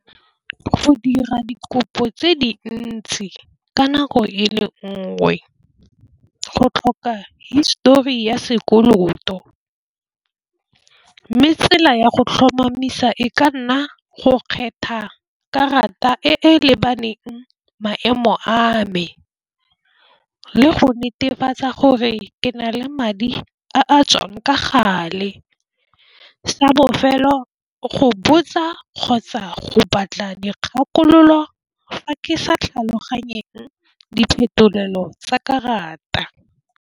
Go dira dikopo tse dintsi ka nako e le nngwe go tlhoka histori ya sekoloto, mme tsela ya go tlhomamisa e ka nna go kgetha karata e e lebaneng maemo a me, le go netefatsa gore ke na le madi a a tswang ka gale sa bofelo go botsa, kgotsa go batla dikgakololo fa ke sa tlhaloganyeng diphetolelo tsa karata.